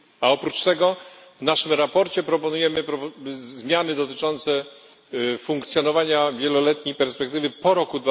A oprócz tego w naszym sprawozdaniu proponujemy zmiany dotyczące funkcjonowania wieloletniej perspektywy po roku